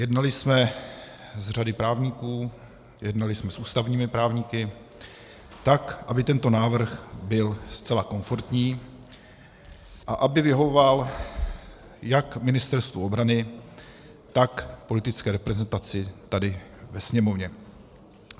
Jednali jsme s řadou právníků, jednali jsme s ústavními právníky, tak aby tento návrh byl zcela komfortní a aby vyhovoval jak Ministerstvu obrany, tak politické reprezentaci tady ve Sněmovně.